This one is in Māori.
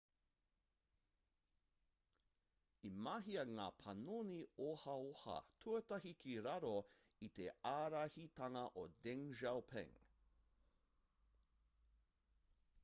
i mahia ngā panoni ohaoha tuatahi ki raro i te ārahitanga o deng xiaoping